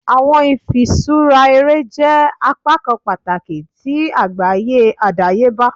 Awọn ifiṣura ere jẹ apakan pataki ti agbaye adayeba.